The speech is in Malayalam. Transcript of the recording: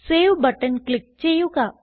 സേവ് ബട്ടൺ ക്ലിക്ക് ചെയ്യുക